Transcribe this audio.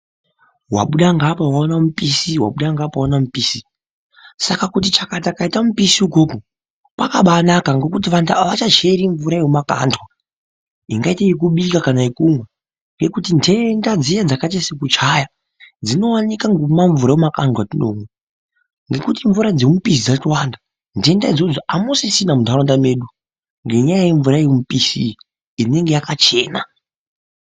Wambuda ngeapa waona mupisi wabuda ngeapa waona mupisi Saka kuti chakata kaita mupishi ukoko kwakabana ngekuti vantu avachacheri mvura yemumakandwa ingaite yekubika kana yekumwa ngekuti ndenda dziya dzakaita sekuchaya dzinowanikwa ngemamvura emumakandwa atinomwa ngekuti mvura dzemupishi dzatowanda ndenda idzodzo amusisina muntaraunda dzedu ngeya yemvuraya yemumupishi ininenge yakachena.